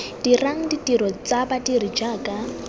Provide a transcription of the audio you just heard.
dirang ditiro tsa badiri jaaka